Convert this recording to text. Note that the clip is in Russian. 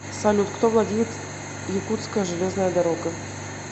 салют кто владеет якутская железная дорога